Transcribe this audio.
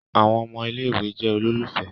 Àwọn ọmọ ilé-ìwé jẹ ololufẹ.